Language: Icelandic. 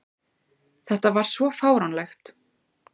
Þetta var svo fáránlegt!